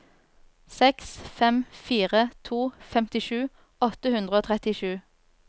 seks fem fire to femtisju åtte hundre og trettisju